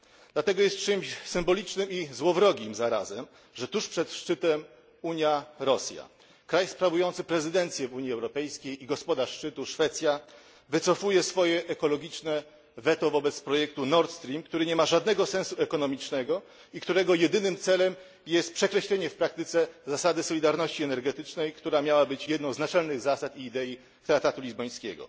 Dlatego jest czymś symbolicznym i złowrogim zarazem, że tuż przed szczytem Unia Rosja kraj sprawujący prezydencję w Unii Europejskiej i gospodarz szczytu Szwecja wycofuje swoje ekologiczne weto wobec projektu Nord Stream, który nie ma żadnego sensu ekonomicznego i którego jedynym celem jest przekreślenie w praktyce zasady solidarności energetycznej, która miała być jedną z naczelnych zasad i idei traktatu lizbońskiego.